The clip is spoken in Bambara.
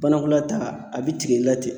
Banakɔla taa , a be tigɛ i la ten.